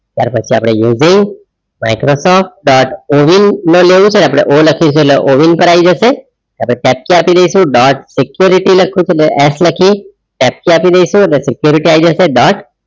ત્યાર પછી અપડે using Microsoft dot CoWIN O લખીસું એટલે ઓવિન પર આય જઇસુ આપદા કેપચા આપી ડાઈસુ dot સિક્યોરિટી લખીયુ છે એટલે S લખીએ કેપચા security આય જસે dot